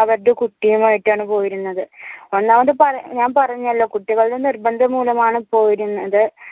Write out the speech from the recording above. അവരടെ കുട്ടിയുമായിട്ടാണ് പോയിരുന്നത് ഒന്നാമത് പറ ഞാൻ പറഞ്ഞല്ലോ കുട്ടികളുടെ നിർബന്ധം മൂലമാണ് പോയിരുന്നത്